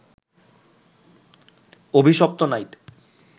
অভিশপ্ত নাইট